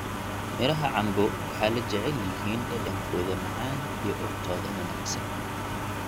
midhaha cambo waxay la jecel yihiin dhadhankooda macaan iyo urtooda wanaagsan.